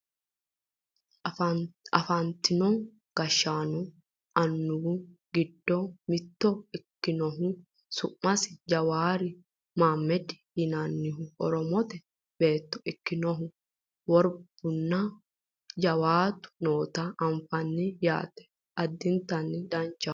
afantino gashshaanonna annuwu giddo mitto ikkinohu su'masi jawaari maammedi yinannihu oromote beetto ikkinohu worbunna jawaatu noota anfannite yaate addinta danchaho